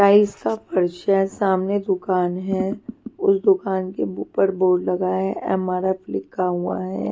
Tyres का परिचय सामने दुकान है उस दुकान के ऊपर बोर्ड लगा है एम_आर_एफ लिखा हुआ है.